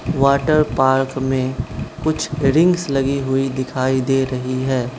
Water park में कुछ rings लगी हुई दिखाई दे रही है।